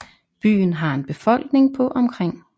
Byen har en befolkning på omkring